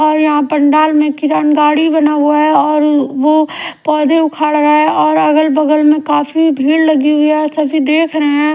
और यहाँ पंडाल में किरण गाड़ी बना हुआ है और वो पौधे उखाड़ रहा हैं और अगल बगल में काफी भीड़ लगी हुई है और सभी देख रहें हैं।